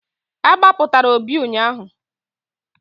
A gbapụtara Obi ụnyaahụ.